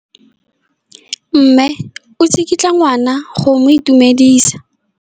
Mme o tsikitla ngwana go mo itumedisa.